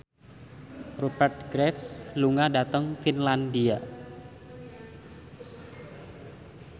Rupert Graves lunga dhateng Finlandia